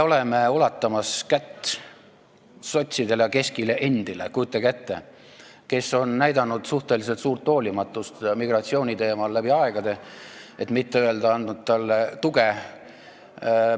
Me ulatame käe sotsidele ja, kujutage ette, keski omadelegi, kes on läbi aegade näidanud suhteliselt suurt hoolimatust migratsiooni teemal, et mitte öelda, sellele tuge andnud.